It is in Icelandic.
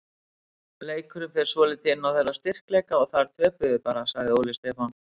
Leikurinn fer svolítið inn á þeirra styrkleika og þar töpum við bara, sagði Óli Stefán.